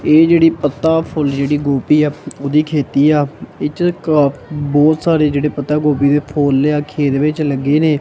ਇਹ ਜੇਹੜੀ ਪੱਤਾ ਫੁੱਲ ਜੇਹੜੀ ਗੋਭੀ ਹੈ ਓਹਦੀ ਖ਼ੇਤੀ ਆ ਇਸ੍ਚ ਕ ਆਹ ਬਹੁਤ ਸਾਰੇ ਜੇਹੜੇ ਪੱਤਾ ਗੋਭੀ ਦੇ ਫੁੱਲ ਆ ਖੇਤ ਵਿੱਚ ਲੱਗੇ ਨੇ।